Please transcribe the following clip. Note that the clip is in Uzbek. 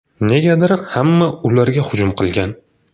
Negadir hamma ularga hujum qilgan.